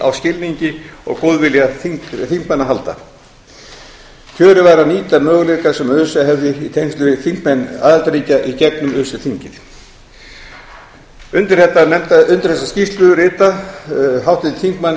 á skilningi og góðvilja þingmanna að halda kjörið væri að nýta þá möguleika sem öse hefði í tengslum við þingmenn aðildarríkja í gegnum öse þingið undir þessa skýrslu rita háttvirtir þingmenn